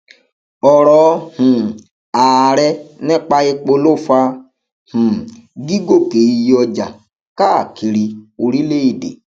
ọrọ um ààrẹ nípa epo ló fa um gígòkè iye ọjà káàkiri orílẹèdè